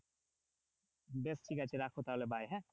বেশ ঠিক আছে রাখো তাহলে bye হ্যাঁ